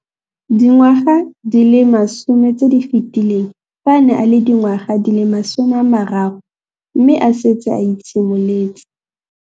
Dingwaga di le 10 tse di fetileng, fa a ne a le dingwaga di le 23 mme a setse a itshimoletse.